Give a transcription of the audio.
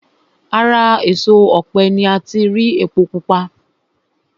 Ara èso ọ̀pẹ ni ati rí epo pupa